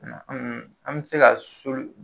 an be se ka so